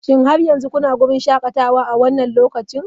Shin har yanzu kuna wurin shakatawa a wannan lokacin?